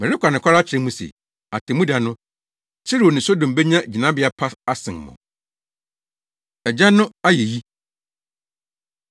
Mereka nokware akyerɛ mo se, atemmuda no, Tiro ne Sodom benya gyinabea pa asen mo!” Agya No Ayeyi